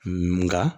Nka